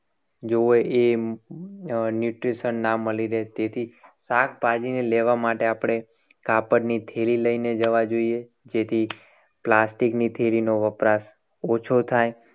જોવે. એ neutrition ના મળી રહેતી હતી. શાકભાજીને લેવા માટે આપણે કાપડની થેલી લઈને જવા જોઈએ. જેથી plastic ની થેલીનો વપરાશ ઓછો થાય.